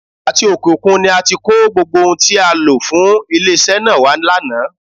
Àti òkè òkun ni a ti kó gbogbo ohun tí a lò fún ilé-iṣẹ́ náà wá lánàá.